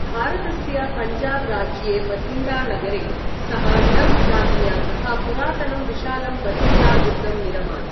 भारतस्य पञ्जाब राज्ये बथिण्डा नगरे सः डब् राज्ञा सह पुरातनं विशालं बथिण्डा दुर्गम् निरमात्।